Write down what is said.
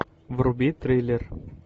вруби триллер